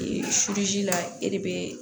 Ee la e de bee